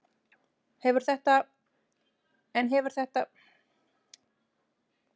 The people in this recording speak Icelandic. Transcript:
En hefur þetta áhrif á skuldaleiðréttinguna?